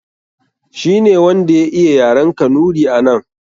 Shi ne wanda ya iya yaren Kanuri a nan.